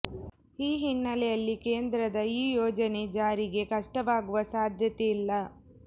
ಈ ಹಿನ್ನೆಲೆಯಲ್ಲಿ ಕೇಂದ್ರದ ಈ ಯೋಜನೆ ಜಾರಿಗೆ ಕಷ್ಟವಾಗುವ ಸಾಧ್ಯತೆ ಇಲ್ಲ